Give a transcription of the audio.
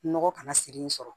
Nɔgɔ kana siri yen sɔrɔ